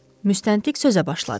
Müstəntiq sözə başladı.